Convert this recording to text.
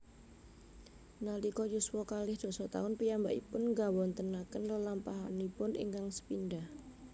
Nalika yuswa kalih dasa taun piyambakipun nggawontenaken lelampahanipun ingkang sepindhah